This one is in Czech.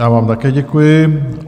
Já vám také děkuji.